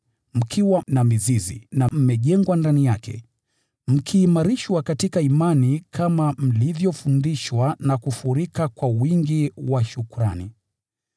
mkiwa na mizizi, na mmejengwa ndani yake, mkiimarishwa katika imani kama mlivyofundishwa, na kufurika kwa wingi wa shukrani.